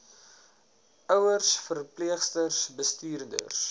ouers verpleegsters bestuurders